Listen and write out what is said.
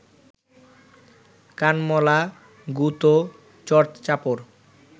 কানমলা, গুঁতো, চড় চাপড়